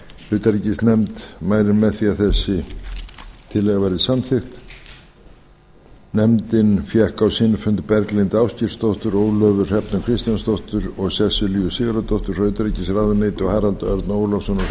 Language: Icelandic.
utanríkisnefnd mælir með því að þessi tillaga verði samþykkt nefndin fékk á sinn fund berglindi ásgeirsdóttur ólöfu hrefnu kristjánsdóttur og sesselju sigurðardóttur frá utanríkisráðuneyti og harald örn ólafsson og hrein